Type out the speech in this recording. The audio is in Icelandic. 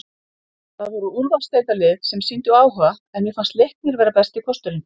Það voru úrvalsdeildarlið sem sýndu áhuga en mér fannst Leiknir vera besti kosturinn.